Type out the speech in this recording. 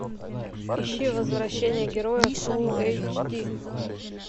ищи возвращение героя фулл эйч ди